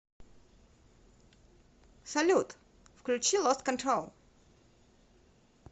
салют включи лост контрол